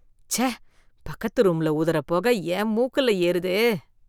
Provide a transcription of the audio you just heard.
ச்சே பக்கத்து ரூம்ல ஊதுற பொக என் மூக்குல ஏறுதே.